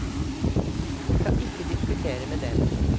Vi kan ikke diskutere med dem.